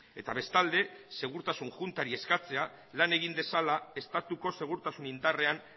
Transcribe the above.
eta bestalde segurtasun juntari eskatzea lan egin dezala estatuko segurtasun indarrean